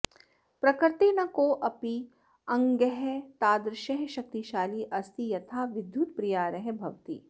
प्रकृतेः न कोपि अङ्गः तादृशः शक्तिशाली अस्ति यथा विद्युत्प्रयारः भवति